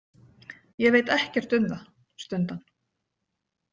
Ég veit ekkert um það, stundi hann.